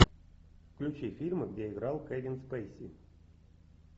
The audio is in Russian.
включи фильмы где играл кевин спейси